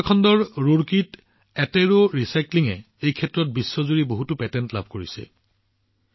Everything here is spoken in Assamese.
উত্তৰাখণ্ডৰ ৰুড়কীৰ আটেৰো ৰিচাইক্লিঙে বিশ্বজুৰি এই ক্ষেত্ৰত বহুতো পেটেন্ট লাভ কৰিছে